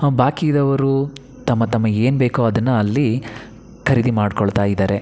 ಹ ಬಾಕಿ ಇದ್ದವ್ರು ತಮ್ಮ ತಮ್ಮ ಏನ್ ಬೇಕೋ ಅದನ್ನ ಅಲ್ಲಿ ಖರೀದಿ ಮಾಡ್ಕೊಳ್ತಾ ಇದ್ದಾರೆ.